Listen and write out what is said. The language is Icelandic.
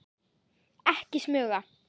Ekki smuga!